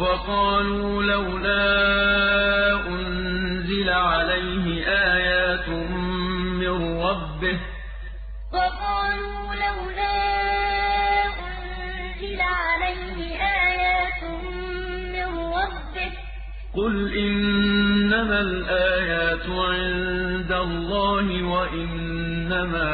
وَقَالُوا لَوْلَا أُنزِلَ عَلَيْهِ آيَاتٌ مِّن رَّبِّهِ ۖ قُلْ إِنَّمَا الْآيَاتُ عِندَ اللَّهِ وَإِنَّمَا